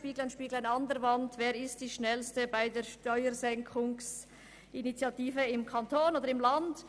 «Spieglein, Spieglein an der Wand, wer ist am schnellsten beim Steuersenken im ganzen Land?